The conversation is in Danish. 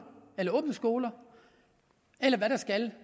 eller åbnes skoler eller hvad der skal